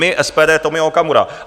My, SPD, Tomio Okamura.